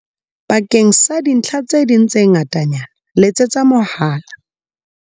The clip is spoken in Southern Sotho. Bakeng sa dintlha tse ding tse ngatanyana letsetsa mohala.